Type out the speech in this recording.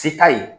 Se t'a ye